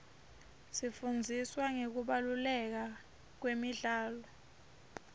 sifundziswa ngekubaluleka kwemidlalo